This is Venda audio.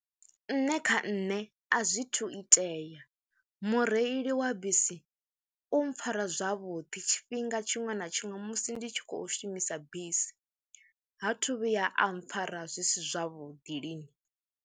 Nṋe kha nṋe a zwithu itea mureili wa bisi u mpfhara zwavhuḓi tshifhinga tshiṅwe na tshiṅwe musi ndi tshi khou shumisa bisi, ha thu vhuya a mpfara zwi si zwavhuḓi lini.